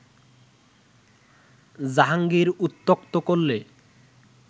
জাহাঙ্গীর উত্ত্যক্ত করলে